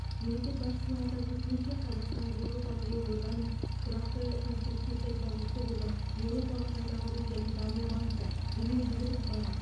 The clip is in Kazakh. мемлекет басшысының атап өтуінше қазақстан еуропалық елордалармен тұрақты конструктивті диалогты қолдап еуропалық қайта құру және даму банкі дүниежүзілік банк